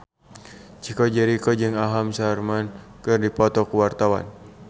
Chico Jericho jeung Aham Sharma keur dipoto ku wartawan